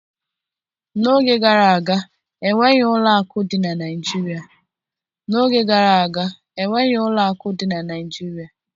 N'oge gara aga, enweghị ụlọ akụ dị na Naịjirịa